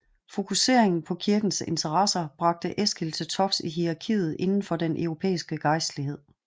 Fokuseringen på kirkens interesser bragte Eskil til tops i hierarkiet inden for den europæiske gejstlighed